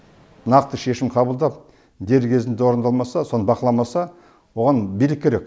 нақты шешім қабылдап дер кезінде орындалмаса соны бақыламаса оған билік керек